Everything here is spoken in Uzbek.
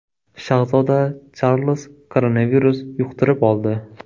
Shahzoda Charlz koronavirus yuqtirib oldi.